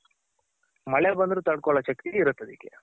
ಮಳೆ ಬಂದ್ರು ತಡ್ಕೋಳೋ ಶಕ್ತಿ ಇರುತ್ತ್ ಅದಕ್ಕೆ.